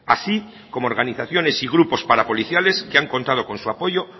así como organizaciones y grupos parapoliciales que han contado con su apoyo